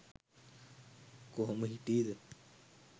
කොහොම හිටී ද?